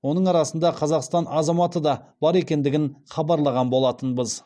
оның арасында қазақстан азаматы да бар екендігін хабарлаған болатынбыз